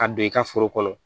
Ka don i ka foro kɔnɔ